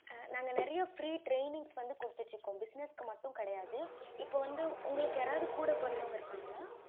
ஆஹ் நான் நெறைய free trainings வந்து குடுத்துட்டு இருக்கோம் business க்கு மட்டும் கிடையாது இப்போ வந்து உங்களுக்கு யாரவது கூட பொறந்தவங்க இருக்காங்களா